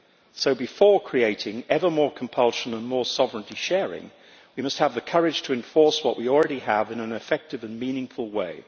So, before creating ever more compulsion and more sovereignty sharing, we must have the courage to enforce what we already have in an effective and meaningful way.